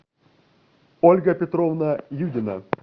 ольга петровна юдина